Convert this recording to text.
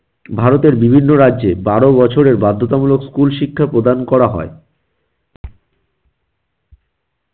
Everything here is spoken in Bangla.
ভারতের বিভিন্ন রাজ্যে বারো বছরের বাধ্যতামূলক school শিক্ষা প্রদান করা হয়।